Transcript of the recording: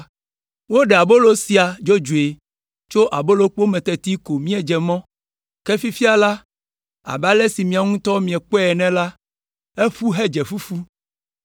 Woɖe abolo sia dzodzoe tso abolokpo me teti ko míedze mɔ, ke fifia la, abe ale si miawo ŋutɔ miakpɔe ene la, eƒu hedze fufu.